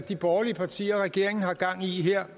de borgerlige partier og regeringen har gang i her